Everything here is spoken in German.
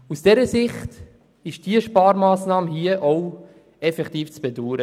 Aus dieser Sicht ist die vorliegende Sparmassnahme effektiv zu bedauern.